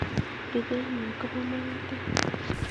Epitheliol kopo magatet